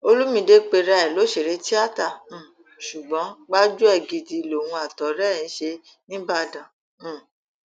olùmìde pera ẹ lọsẹrẹ tíátà um ṣùgbọn gbájúẹ gidi lòun àtọrẹ ẹ ń ṣe níìbàdàn um